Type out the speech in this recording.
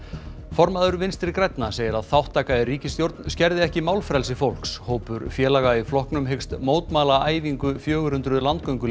formaður Vinstri grænna segir að þátttaka í ríkisstjórn skerði ekki málfrelsi fólks hópur félaga í flokknum hyggst mótmæla æfingu fjögur hundruð